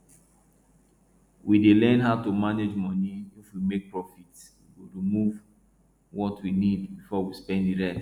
we dey learn how to manage money if we make profit we go remove what we need before we spend the rest